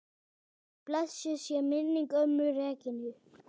Blessuð sé minning ömmu Regínu.